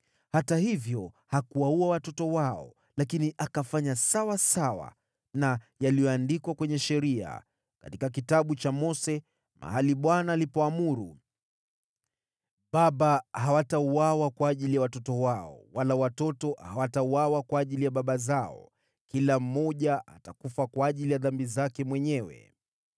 Hata hivyo hakuwaua watoto wao, lakini akafanya sawasawa na ilivyoandikwa katika Sheria, katika Kitabu cha Mose, ambako Bwana aliamuru: “Baba hawatauawa kwa ajili ya watoto wao, wala watoto hawatauawa kwa ajili ya baba zao. Kila mmoja atakufa kwa ajili ya dhambi zake mwenyewe.”